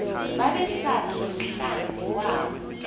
babesaba nomhlambi wabo